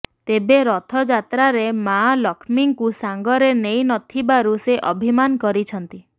ତେବେ ରଥଯାତ୍ରାରେ ମାଆ ଲକ୍ଷ୍ମୀଙ୍କୁ ସାଙ୍ଗରେ ନେଇନଥିବାରୁ ସେ ଅଭିମାନ କରିଛନ୍ତି